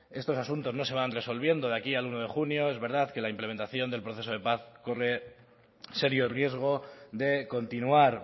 estos asuntos no se van resolviendo de aquí al uno de junio es verdad que la implementación del proceso de paz corre serio riesgo de continuar